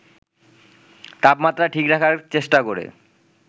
তাপমাত্রা ঠিক রাখার চেষ্টা করে